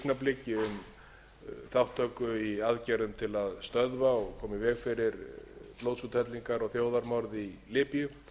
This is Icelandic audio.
um þátttöku í aðgerðum til að stöðva og koma í veg fyrir blóðsúthellingar og þjóðarmorð í líbíu